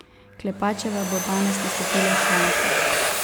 Klepačeva bo danes nastopila še enkrat.